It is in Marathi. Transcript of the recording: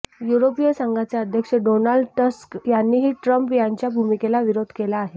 युरोपीय संघाचे अध्यक्ष डोनाल्ड टस्क यांनीही ट्रम्प यांच्या भूमिकेला विरोध केला आहे